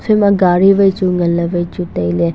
ephaima gadi chu wai chu nganley tailey.